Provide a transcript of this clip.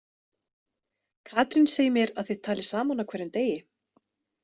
Katrín segir mér að þið talið saman á hverjum degi.